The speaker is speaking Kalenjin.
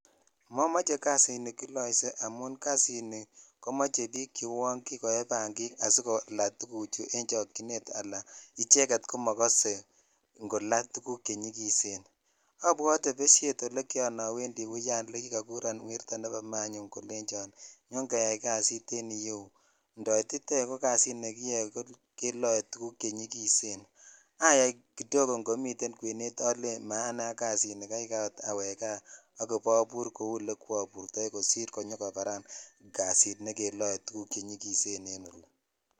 Momoche kasini kiloishe amun kasini komoche bik che uon kikoye bangik asikolaa tuguchu en chokchinetala icheget komokose ingola tuguk chenyikisen abwoteebeshet ole kiran oendi uyan ole kikokuron werto nebo manyun kolenchon nyon keyai kasit en iyeu indoititoi ko kasit nekiloe tuguk chenyikisen ayai kidogo idomiten kwenet ole maanei ak kasini kaikai ot awek kaa ak abur kou ole kwoburtoi kosir konyokobaran kasit nekeloe tuguk chenyikisen ko ni.